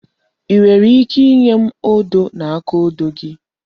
I nwere ike inye m odo na akaodo gị?